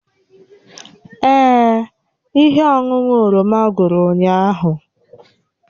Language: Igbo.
Èè, ihe ọṅụṅụ oroma gwụrụ ụnyahụ